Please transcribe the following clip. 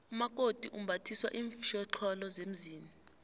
umakoti umbathiswa iinfjhoxholo zemzini